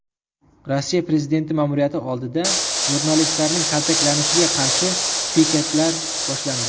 Rossiya prezidenti ma’muriyati oldida jurnalistlarning kaltaklanishiga qarshi piketlar boshlandi.